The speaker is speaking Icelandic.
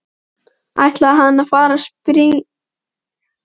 ætlaði hann að fara að spyrja en hætti við.